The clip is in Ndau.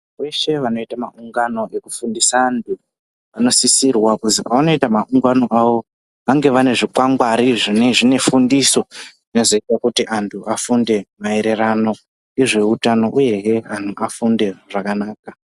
Veshe vanoita maungano ekufundisa anhu vanosisirwa kuzi oavanoita makungano avo vange vane zvikwangwari zvinenge zvine fundiso zvinozoita kuti vantu vafunde maererano nezveutano uyehe anhu afunde zvakanaka.